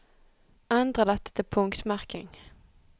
Endre dette til punktmerking